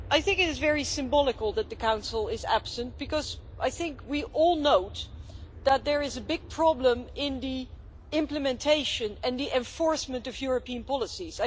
It is very symbolic that the Council is absent because we all know that there is a big problem in the implementation and the enforcement of European policies.